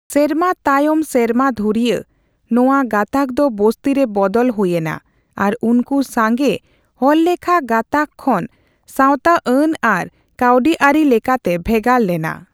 ᱥᱮᱨᱢᱟ ᱛᱟᱭᱚᱢ ᱥᱮᱨᱢᱟ ᱫᱷᱩᱨᱭᱟᱹ, ᱱᱚᱣᱟ ᱜᱟᱛᱟᱠᱫᱚ ᱵᱚᱥᱛᱤ ᱨᱮ ᱵᱚᱫᱚᱞ ᱦᱩᱭ ᱮᱱᱟ ᱟᱨ ᱩᱱᱠᱩ ᱥᱟᱜᱮᱸ ᱦᱚᱲᱞᱮᱠᱷᱟ ᱜᱟᱛᱟᱠ ᱠᱷᱚᱱ ᱥᱟᱣᱛᱟᱼᱟᱱ ᱟᱨ ᱠᱟᱹᱣᱰᱤᱟᱹᱨᱤ ᱞᱮᱠᱟᱛᱮ ᱵᱷᱮᱜᱟᱨ ᱞᱮᱱᱟ ᱾